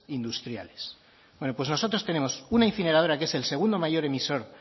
industriales bueno pues nosotros tenemos una incineradora que es el segundo mayor emisor